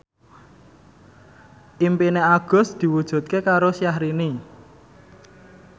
impine Agus diwujudke karo Syahrini